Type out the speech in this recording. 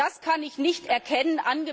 Das kann ich nicht erkennen!